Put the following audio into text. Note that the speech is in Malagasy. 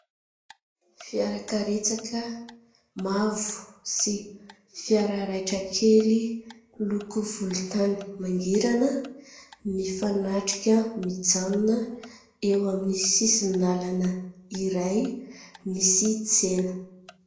Fiara karetsaka mavo sy fiara raitra kely miloko volontany mangirana, mifanatrika mijanona eo amin'ny sisin-dalana iray misy tsena.